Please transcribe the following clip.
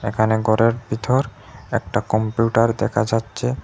এখানে গরের ভিতর একটা কম্পিউটার দেখা যাচ্ছে।